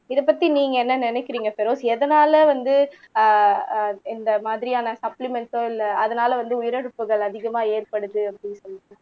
இதைப் பத்தி நீங்க என்ன நினைக்கிறீங்க பெரோஸ் எதனால வந்து அஹ் அஹ் இந்த மாதிரியான சப்ளிமெண்ட்ஸ் இல்ல அதனால வந்து உயிரிழப்புகள் அதிகமா ஏற்படுது அப்படின்னு சொல்லிட்டு